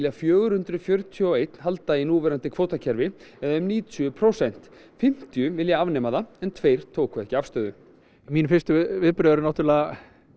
fjögur hundruð fjörutíu og eitt halda í núverandi kvótakerfi eða um níutíu prósent fimmtíu vilja afnema það en tveir tóku ekki afstöðu mín fyrstu viðbrögð eru náttúrulega